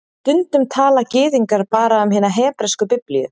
Stundum tala Gyðingar bara um hina hebresku Biblíu